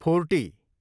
forty